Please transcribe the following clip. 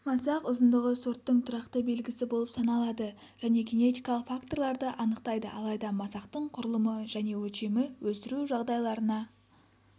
масақ ұзындығы сорттың тұрақты белгісі болып саналады және генетикалық факторларды анықтайды алайда масақтың құрылымы және өлшемі өсіру жағдайларына